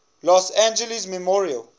los angeles memorial